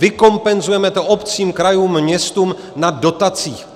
Vykompenzujeme to obcím, krajům, městům na dotacích.